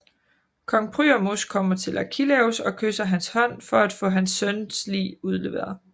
Kong Priamos kommer til Achilleus og kysser hans hånd for at få sin søns lig udleveret